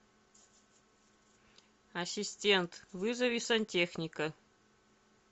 ассистент вызови сантехника